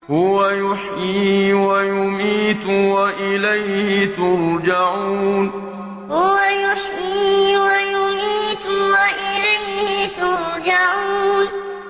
هُوَ يُحْيِي وَيُمِيتُ وَإِلَيْهِ تُرْجَعُونَ هُوَ يُحْيِي وَيُمِيتُ وَإِلَيْهِ تُرْجَعُونَ